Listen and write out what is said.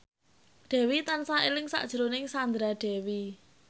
Dewi tansah eling sakjroning Sandra Dewi